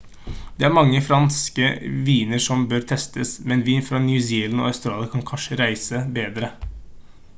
det er mange franske viner som bør testes men vin fra new zealand og australia kan kanskje reise bedre